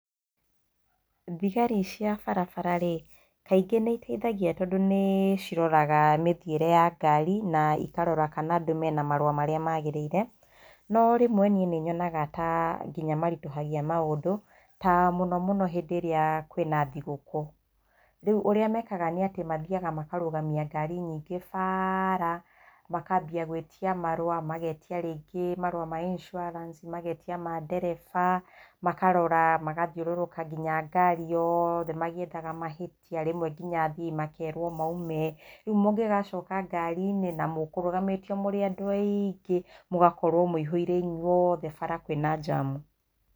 Thigari cia barabararĩ, kaingĩ nĩiteithagia tondũ nĩciroraga mĩthiĩre ya ngari na ikarora kana andũ mena marũa marĩa magĩrĩire, no rĩmwe niĩ nĩnyogaga ta nginya maritũhagia maũndũ, ta mũno mũno hĩndĩ ĩrĩa kwĩna thigũkũ. Rĩu ũrĩa mekaga nĩ atĩ mathiaga makarũgamia ngari nyingĩ bara, makambia gwĩtia marũa, magetia rĩngĩ marũa ma insurance, magetia ma ndereba, makarora, magathiũrũrũka nginya ngari yothe magĩethaga mahĩtia, rĩmwe nginya athii makerwo maume. Rĩu mũngĩgacoka ngari-inĩ na mũkũrũgamĩtio mũrĩ andũ aingĩ mũgakorwo mũihũire inyuothe bara kwĩna njamu.